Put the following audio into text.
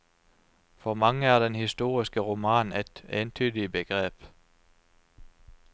For mange er den historiske roman et entydig begrep.